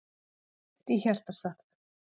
Beint í hjartastað